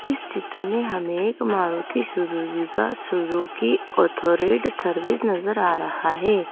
इस चित्र में हमें एक मारुति सुजुकी का सुजुकी ऑटो रेट सर्विस नजर आ रहा है।